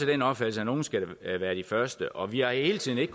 den opfattelse at nogle skal være de første og vi har hele tiden ikke